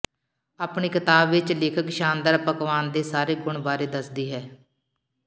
ਆਪਣੀ ਕਿਤਾਬ ਵਿਚ ਲੇਖਕ ਸ਼ਾਨਦਾਰ ਪਕਵਾਨ ਦੇ ਸਾਰੇ ਗੁਣ ਬਾਰੇ ਦੱਸਦੀ ਹੈ